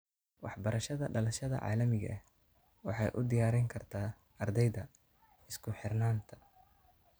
Waxbarashada dhalashada caalamiga ah waxay u diyaarin kartaa ardayda isku xirnaanta.